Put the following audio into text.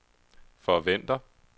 forventer